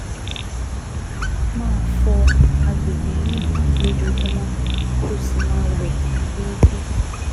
Máa fọ àgbègbè yìí lójoojúmọ́, kó o sì máa wẹ̀ déédéé